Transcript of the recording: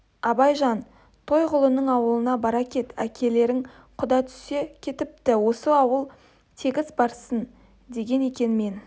абайжан тойғұлының аулына бара кет әкелерің құда түсе кетіпті осы ауыл тегіс барсын деген екен мен